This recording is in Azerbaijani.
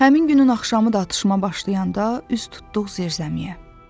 Həmin günün axşamı da atışma başlayanda üz tutduq zirzəmiyə.